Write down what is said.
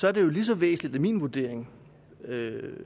er det jo lige så væsentligt er min vurdering